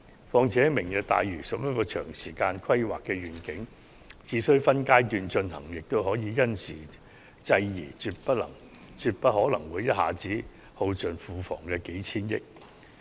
況且，"明日大嶼"屬於長時間的規劃願景，只需分階段進行，便可因時制宜，絕不可能會一下子耗盡庫房的數千億元儲備。